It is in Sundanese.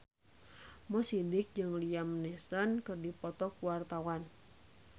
Mo Sidik jeung Liam Neeson keur dipoto ku wartawan